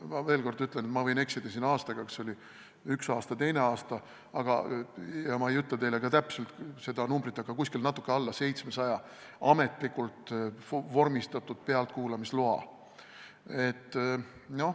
Ma veel kord ütlen, ma võin siin eksida aastaga, kas oli üks aasta või teine aasta, ja ma ei ütle ka täpselt seda numbrit, aga anti natuke alla 700 ametlikult vormistatud pealtkuulamisloa.